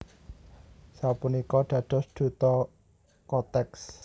Sapunika dados duta Kotex